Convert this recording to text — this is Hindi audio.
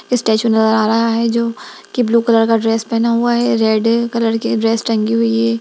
स्टैचू नजर आ रहा है जो की ब्लू कलर का ड्रेस पेहना हुआ है रेड कलर की ड्रेस टंगी हुई है।